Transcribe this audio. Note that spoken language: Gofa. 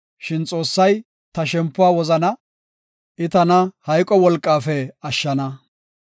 Shin Xoossay ta shempuwa wozana; I tana hayqo wolqafe ashshana. Salaha